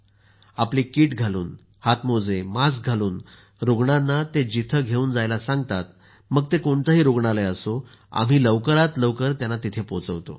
आपली कीट घालून हात मोजे मास्क घालून रुग्णांना ते जिथे घेऊन जायला सांगतात मग ते कोणतेही रुग्णालय असो आम्ही लवकरात लवकर त्यांना तिथे पोहोचवतो